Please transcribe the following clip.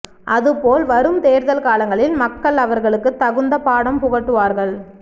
அது போல் வரும் தேர்தல் காலங்களில் மக்கள் அவர்களுக்கு தகுந்த பாடம் புகட்டுவார்கள்